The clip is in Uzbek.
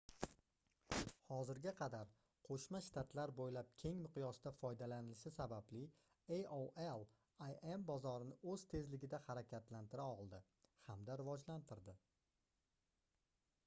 hozirga qadar qoʻshma shtatlar boʻylab keng miqyosda foydalanilishi sababli aol im bozorini oʻz tezligida harakatlantira oldi hamda rivojlantirdi